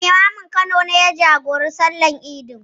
Limamin Kano ne ya jagoranci sallar idin.